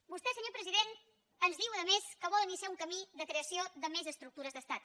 vostè senyor president ens diu a més que vol iniciar un camí de creació de més estructures d’estat